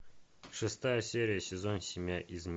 шестая серия сезон семь